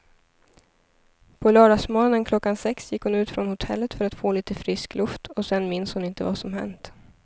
På lördagsmorgonen klockan sex gick hon ut från hotellet för att få lite frisk luft och sen minns hon inte vad som hänt.